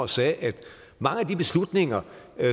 sagde at mange af de beslutninger